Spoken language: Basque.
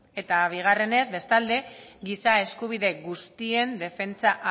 eta bigarrenez bestalde giza eskubide guztien defentsa